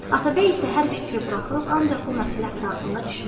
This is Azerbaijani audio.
Atabəy isə hər fikri buraxıb ancaq bu məsələ ətrafında düşünürdü.